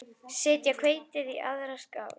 Setjið hveitið í aðra skál.